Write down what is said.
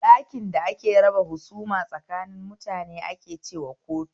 Ɗakin da ake raba husuma tsakanin mutane ake cewa kotu